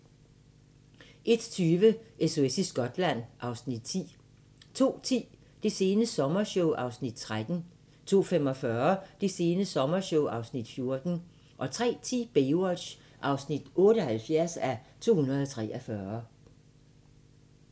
01:20: SOS i Skotland (Afs. 10) 02:10: Det sene sommershow (Afs. 13) 02:45: Det sene sommershow (Afs. 14) 03:10: Baywatch (78:243)